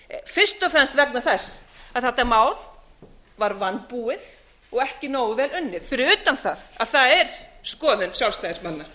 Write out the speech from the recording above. og fremst vegna þess að þetta mál var vanbúið og ekki nógu vel unnið fyrir utan það að það er skoðun sjálfstæðismanna